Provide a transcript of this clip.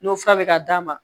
N'o fura bɛ ka d'a ma